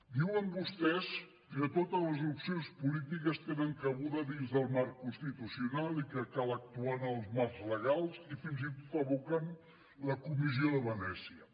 diuen vostès que totes les opcions polítiques tenen cabuda dintre del marc constitucional i que cal actuar en els marcs legals i fins i tot evoquen la comissió de venècia